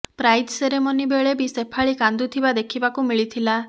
prize ceremony ବେଳେ ବି ଶେଫାଳି କାନ୍ଦୁଥିବା ଦେଖିବାକୁ ମିଳିଥିଲା